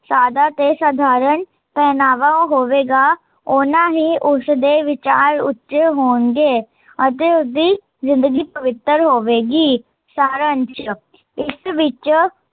ਸਾਦਾ ਤੇ ਸਧਾਰਨ, ਪਹਿਨਾਵਾ ਹੋਵੇਗਾ, ਓਨਾ ਹੀਂ ਉਸਦੇ ਵਿਚਾਰ ਉੱਚੇ ਹੋਣਗੇ ਅਤੇ ਉਸਦੀ ਜ਼ਿੰਦਗੀ ਪਵਿੱਤਰ ਹੋਵੇਗੀ ਸਾਰਾ ਅੰਸ਼, ਇਸ ਵਿੱਚ